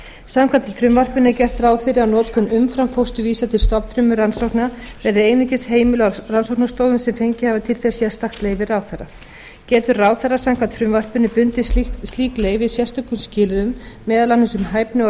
samkvæmt frumvarpinu er gert ráð fyrir að notkun umframfósturvísa til stofnfrumurannsókna verði einungis heimiluð á rannsóknastofum sem fengið hafa til þess sérstakt leyfi ráðherra getur ráðherra samkvæmt frumvarpinu bundið slík leyfi sérstökum skilyrðum meðal annars um hæfni og